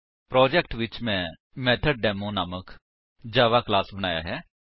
project ਵਿੱਚ ਮੈਂ method demo ਨਾਮਕ ਜਾਵਾ ਕਲਾਸ ਬਣਾਇਆ ਹੈ